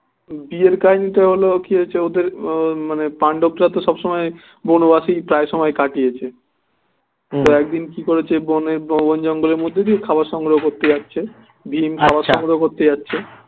বিয়ের কাহিনী টা হলো কি হচ্ছে ওদের উহ মানে পাণ্ডবরা তো সবসময় বনবাসেই প্রায় সময় কাটিয়েছে তো একদিন কি করেছে বনে ব~বন জঙ্গলের মধ্যে দিয়ে খাবার সংগ্রহ করতে যাচ্ছে ভীম খাবার সংগ্রহ করতে যাচ্ছে